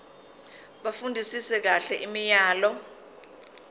bafundisise kahle imiyalelo